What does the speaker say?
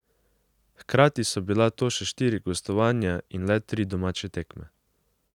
Hkrati so bila to še štiri gostovanja in le tri domače tekme.